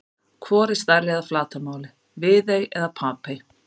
Hvor er stærri að flatarmáli, Viðey eða Papey?